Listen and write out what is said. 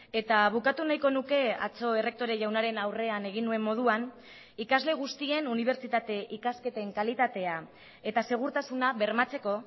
eta bukatu nahiko nuke atzo errektore jaunaren aurrean egin nuen moduan ikasle guztien unibertsitate ikasketen kalitatea eta segurtasuna bermatzeko